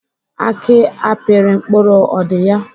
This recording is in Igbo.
Aki apịrị mkpụrụ ọ dị ya?